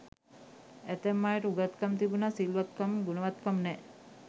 ඇතැම් අයට උගත්කම් තිබුණත් සිල්වත්කම් ගුණවත්කම් නෑ.